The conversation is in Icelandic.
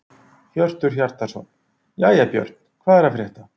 Hjörtur Hjartarson: Jæja Björn, hvað er að frétta?